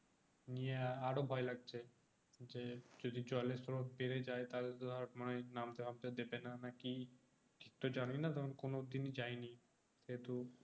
নিয়ে আরো ভয় লাগছে যে যদি জলের স্রোত বেড়ে যায় তাহলে মনে হয় নামতে টানতে দেবেনা না কি তবে জানিনা কোনোদিন যায়নি কিন্তু